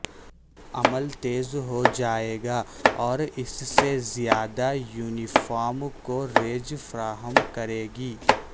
عمل تیز ہو جائے گا اور اس سے زیادہ یونیفارم کوریج فراہم کرے گی